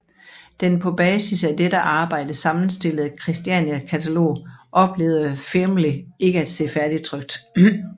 Den på basis af dette arbejde sammenstillede Kristiania katalog oplevede Fearnley ikke at se færdigtrykt